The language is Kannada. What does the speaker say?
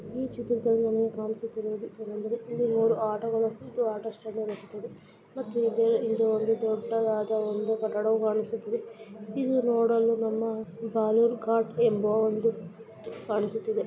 ಈ ಚಿತ್ರದಲ್ಲಿ ನಮಗೆ ಕಾಣಿಸುತ್ತಿರುವುದು ಏನೆಂದರೆ ಇಲ್ಲಿ ಇದು ಒಂದು ಆಟೋ ಸ್ಟ್ಯಾಂಡ್‌ ಅನಿಸುತಿದೆ. ಮತ್ತು ಇಲ್ಲಿ ಒಂದು ದೊಡ್ಡದಾದ ಒಂದು ಕಟ್ಟಡವು ಕಾಣಿಸುತ್ತಿದೆ ಇದನ್ನು ನೋಡಲು ನಮ್ಮ ಬಾಲೂರು ಕಾಟ್‌ ಎಂಬ ಒಂದು ಕಾಣಿಸುತ್ತಿದೆ.